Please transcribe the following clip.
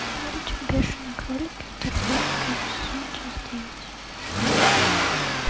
мультик бешеные кролики вторжение первый сезон часть девять